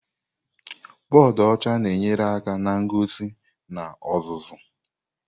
Bọdụ ọcha na-enyere aka na ngosi na ọzụzụ.